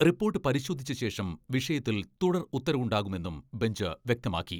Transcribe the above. Report പരിശോധിച്ച ശേഷം വിഷയത്തിൽ തുടർ ഉത്തരവുണ്ടാകുമെന്നും ബെഞ്ച് വ്യക്തമാക്കി.